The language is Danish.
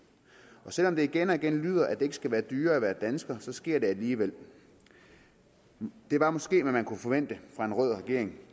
selv om det igen og igen lyder at det ikke skal være dyrere at være dansker så sker det alligevel det var måske hvad man kunne forvente fra en rød regering